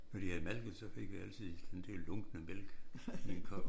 Når de havde malket så fik vi altid den dér lunkne mælk i en kop